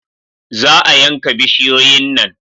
Za a yanka bishiyoyin nan